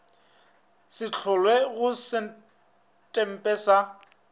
se hlolwe go setempe sa